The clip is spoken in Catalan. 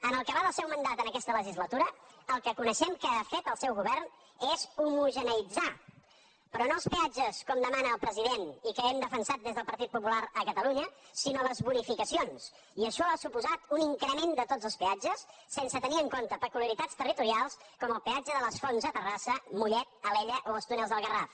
en el que va del seu mandat en aquesta legislatura el que coneixem que ha fet el seu govern és homogeneïtzar però no els peatges com demana el president i que hem defensat des del partit popular a catalunya sinó les bonificacions i això ha suposat un increment de tots els peatges sense tenir en compte peculiaritats territorials com el peatge de les fonts a terrassa a mollet a alella o als túnels del garraf